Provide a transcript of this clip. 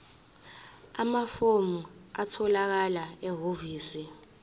amafomu atholakala ehhovisi